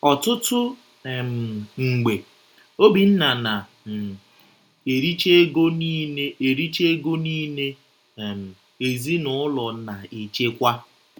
Ọtụtụ um mgbe, Obinna na - um ericha ego niile ericha ego niile um ezinụlọ na-echekwa.